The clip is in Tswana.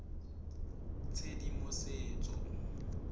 tshedimosetso